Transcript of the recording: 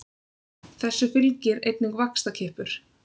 Þessu fylgir einnig vaxtarkippur.